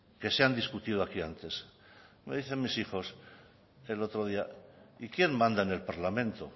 que se han discutido aquí antes me dicen mis hijo el otro día quién manda en el parlamento